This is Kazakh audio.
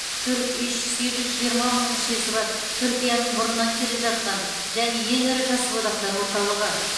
турк иш сегіз жүз жиырма мың мүшесі бар түркияның бұрыннан келе жатқан және ең ірі кәсіподақтар орталығы